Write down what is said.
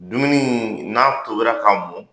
Dumuni in n'a tobila ka mɔn